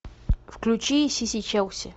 включи сиси челси